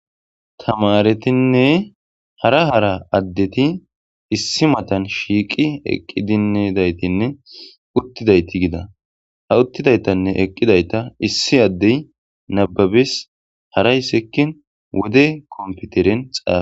tamaretinne hara hara addeti issi matan shiiqi eqqi dinedaytinne uttidayti gida ha uttidaytanne eqqidayta issi addey nababis harayssekkin wode komputeren xaala